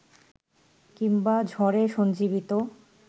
কিংবা ঝড়ে সঞ্জীবিত